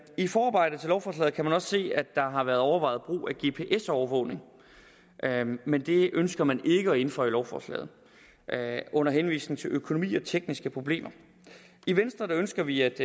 i forarbejdet til lovforslaget kan man også se at der har været overvejet brug af gps overvågning men det ønsker man ikke at indføje i lovforslaget under henvisning til økonomi og tekniske problemer i venstre ønsker vi at